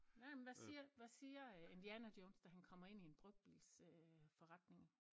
Nej men hvad siger hvad siger øh Indiana Jones da han kommer ind i en brugtbils øh forretning?